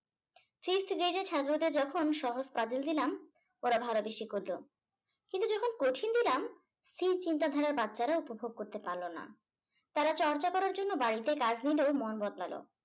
যে যে ছাত্র দের যখন সহজ puzzle দিলাম ওরা করলো। কিন্তু যখন কঠিন দিলাম স্থির চিন্তাধারার বাচ্চারা উপভোগ করতে পারল না। তারা চর্চা করার জন্য বাড়িতে কাজ নিলো মন বদলালো ।